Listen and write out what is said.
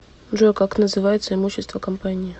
джой как называется имущество компании